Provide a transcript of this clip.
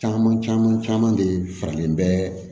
Caman caman caman de faralen bɛ